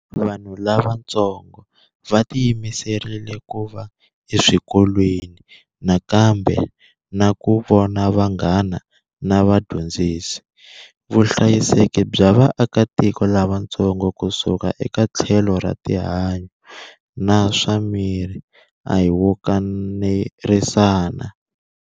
Vanhu lavatsongo va tiyimiserile ku va eswikolweni nakambe na ku vona vanghana na vadyondzisi. Vuhlayiseki bya vaakatiko lavatsongo kusuka eka tlhelo ra rihanyu na swa miri a hi wo kanerisana.